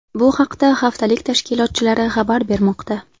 Bu haqda haftalik tashkilotchilari xabar bermoqda.